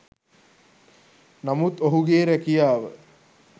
නමුත් ඔහුගේ රැකියාව